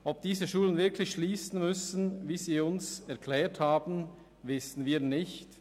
Ob diese Schulen wirklich schliessen müssen, wie sie uns erklärt haben, wissen wir nicht.